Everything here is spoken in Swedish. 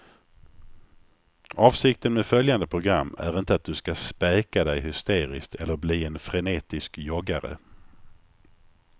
Avsikten med följande program är inte att du ska späka dig hysteriskt eller bli en frenetisk joggare.